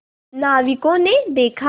नाविकों ने देखा